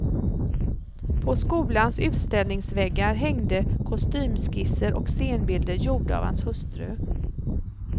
På skolans utställningsväggar hängde kostymskisser och scenbilder gjorda av hans hustru.